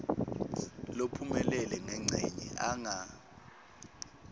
lophumelele ngencenye anga